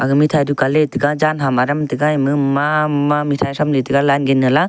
mithai dukan le tega jan ham aram tega ema mama mithai tham le tega line gende la.